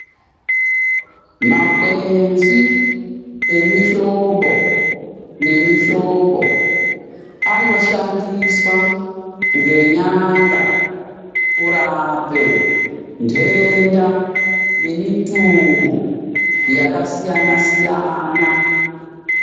Makwenzi emihlobo nemihlobo anoshandiswa nenyanga kurape nhenda nemutungu yakasiyana-siyana.